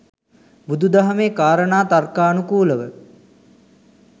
බුදු දහමේ කාරණා තර්කානුකූලව